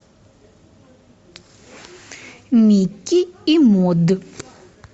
микки и мод